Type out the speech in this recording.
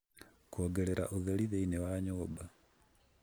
kuongerera utheri thiini wa nyumba